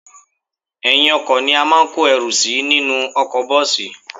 Ẹ̀yìn-ọkọ̀ ni a máa ń kó ẹrù sí nínú ọkọ̀ bọ́ọ̀sì